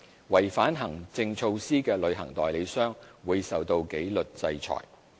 違反行政措施的旅行代理商，會受到紀律制裁。